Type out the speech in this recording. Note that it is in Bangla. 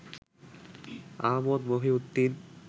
আহমদ মহিউদ্দিন